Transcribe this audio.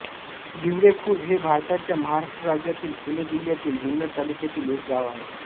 भिवडेखुर्द हे भारताच्या महाराष्ट्र राज्यातील पुणे जिल्ह्यातील जुन्नर तालुक्यातील एक गाव आहे